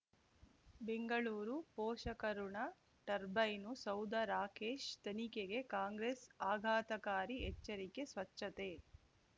ಬೆಂಗಳೂರು ಪೋಷಕಋಣ ಟರ್ಬೈನು ಸೌಧ ರಾಕೇಶ್ ತನಿಖೆಗೆ ಕಾಂಗ್ರೆಸ್ ಆಘಾತಕಾರಿ ಎಚ್ಚರಿಕೆ ಸ್ವಚ್ಛತೆ